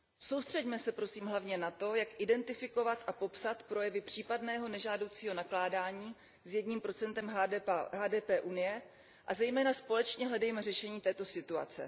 Soustřeďme se, prosím, hlavně na to, jak identifikovat a popsat projevy případného nežádoucího nakládaní s 1 HDP Evropské unie, a zejména společně hledejme řešení této situace.